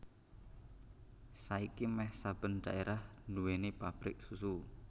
Saiki méh saben dhaérah nduwèni pabrik susu